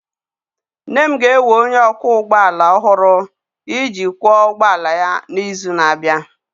Nne m ga-ewe onye ọkwọ ụgbọ ala ọhụrụ iji kwọ ụgbọ ala ya n'izu na-abịa.